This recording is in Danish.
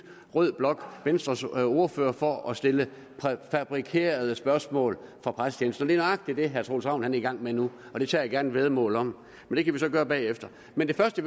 rød blok venstres ordførere for at stille præfabrikerede spørgsmål fra pressetjenesten og det er nøjagtig det herre troels ravn er i gang med nu det tager jeg gerne et væddemål om men det kan vi gøre bagefter men det første